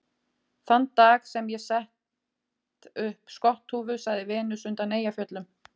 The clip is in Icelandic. Þann dag sem ég set upp skotthúfu, sagði Venus undan Eyjafjöllum